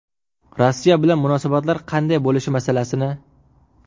Rossiya bilan munosabatlar qanday bo‘lishi masalasini.